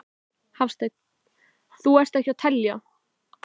Hafsteinn: Þú ert ekki að telja?